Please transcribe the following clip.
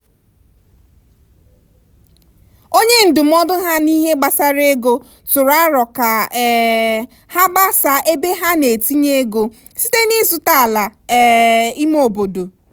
onye ndụmọdụ ha n'ihe gbasara ego tụrụ aro ka um ha gbasaa ebe ha na-etinye ego site n'ịzụta ala um ime obodo.